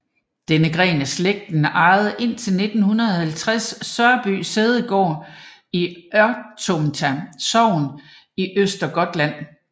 Denne gren af slægten ejede indtil 1960 Sörby sædegård i Örtomta sogn i Östergötland